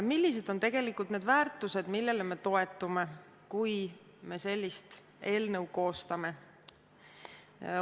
Millised on tegelikult need väärtused, millele me toetume, kui sellist eelnõu koostame?